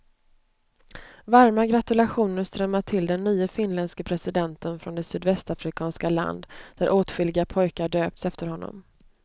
Varma gratulationer strömmar till den nye finländske presidenten från det sydvästafrikanska land, där åtskilliga pojkar döpts efter honom.